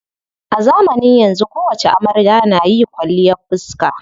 A zamanin yanzu kowacce amarya na yi kwalliyar fiska.